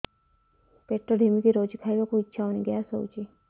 ପେଟ ଢିମିକି ରହୁଛି ଖାଇବାକୁ ଇଛା ହଉନି ଗ୍ୟାସ ହଉଚି